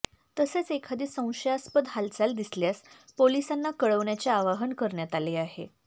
तसेच एखादी संशयास्पद हालचाल दिसल्यास पोलिसांना कळवण्याचे आवाहन करण्यात आले आहे